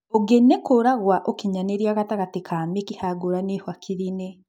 ũngĩ nĩ kũra gwa ũkinyanĩria gatagatĩ ga mĩkiha ngũrani hakiri-inĩ